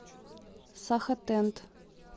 сахатент